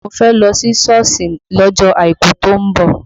Mo fẹ́ lọ sí Sọ́ọ̀sì lọ́jọ́ àìkú tó ń bọ̀